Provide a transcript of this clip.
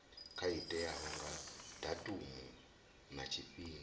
teaho nga datumu na tshifhinga